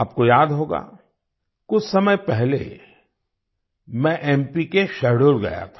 आपको याद होगा कुछ समय पहले मैं एमपी के शहडोल गया था